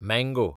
mango